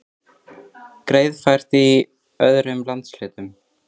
Greiðfært er í öðrum landshlutum